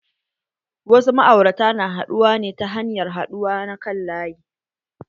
Wasu ma'aurata na haɗuwa ne ta hanyar haɗuwa na kan laƴi.